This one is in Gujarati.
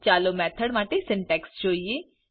ચાલો મેથોડ માટે સિન્ટેક્સ જોઈએ